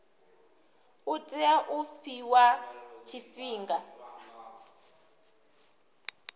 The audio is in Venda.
u tea u fhiwa tshifhinga